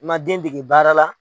I man den dege baara la.